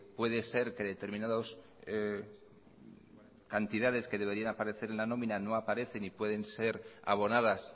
puede ser que determinados cantidades que deberían aparecer en la nómina no aparece y pueden ser abonadas